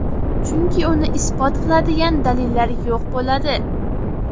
Chunki uni isbot qiladigan dalillar yo‘q bo‘ladi.